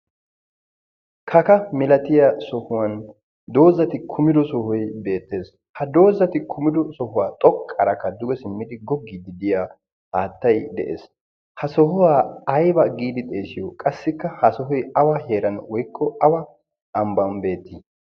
kaka milatiya sohuwan doozzati kumido sohoi beettees ha doozzati kumido sohuwaa xoqqarakka duge simmidi goggii diddiya aattai de'ees. ha sohuwaa ayba giidi xeesiyo qassikka ha sohoy awee? heeran woikko awa ambban beetii?